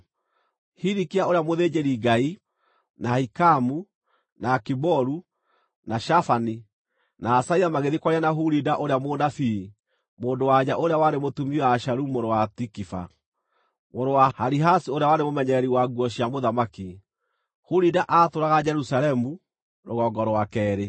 Hilikia ũrĩa mũthĩnjĩri-Ngai, na Ahikamu, na Akiboru, na Shafani, na Asaia magĩthiĩ kwaria na Hulida ũrĩa mũnabii mũndũ-wa-nja ũrĩa warĩ mũtumia wa Shalumu mũrũ wa Tikiva, mũrũ wa Harihasi ũrĩa warĩ mũmenyereri wa nguo cia mũthamaki, Hulida aatũũraga Jerusalemu, rũgongo rwa keerĩ.